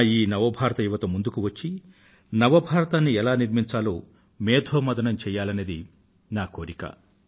నా ఈ నవ భారత యువతరం ముందుకు వచ్చి నవ భారతాన్ని ఎలా నిర్మించాలో మేథోమధనం చెయ్యాలనేది నా కోరిక